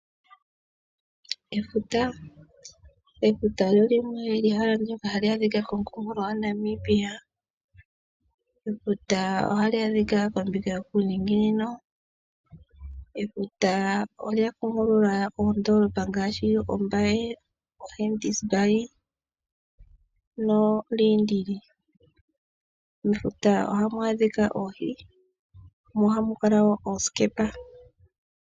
Efuta. Efuta olyo ehala ndoka hali adhika komukunkulo gwa Namibia. Efuta ohali adhika kombinga yokuniinginino . Efuta olya kondeka oondoolopa ngaashi o Walvis Bay, Henties Bay no Ludertz. Mefuta ohamu adhika oohi mo ohamukala woo oosikepa.